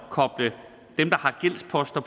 at koble dem der har gældsposter